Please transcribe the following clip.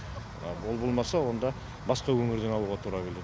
ол болмаса онда басқа өңірден алуға тура келеді